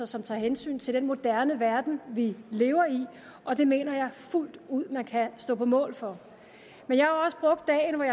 som tager hensyn til den moderne verden vi lever i og det mener jeg fuldt ud man kan stå på mål for men jeg